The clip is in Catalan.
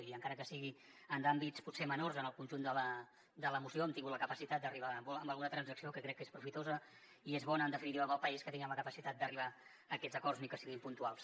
i encara que sigui en àmbits potser menors en el conjunt de la moció hem tingut la capacitat d’arribar a alguna transacció que crec que és profitosa i és bona en definitiva per al país que tinguem la capacitat d’arribar a aquests acords ni que siguin puntuals